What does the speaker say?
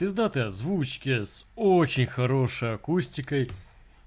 пиздатые озвучки с очень хорошей акустикой